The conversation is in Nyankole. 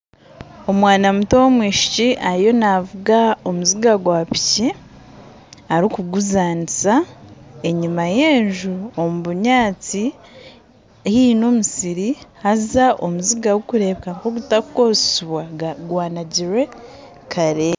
Omwana muto w'omwishiki ariyo navuga omuziga gwa piki arikuguzaniza enyuma y'enju omu binyaatsi hariho n'omusiri haza omuziga gurikureebeka nkogutarikukoresibwa gwanagirwe kare.